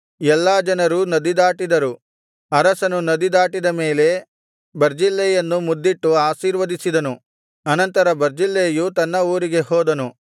ಎಲ್ಲಾ ಜನರೂ ನದಿದಾಟಿದರು ಅರಸನು ನದಿ ದಾಟಿದ ಮೇಲೆ ಬರ್ಜಿಲ್ಲೈಯನ್ನು ಮುದ್ದಿಟ್ಟು ಆಶೀರ್ವದಿಸಿದನು ಅನಂತರ ಬರ್ಜಿಲ್ಲೈಯು ತನ್ನ ಊರಿಗೆ ಹೋದನು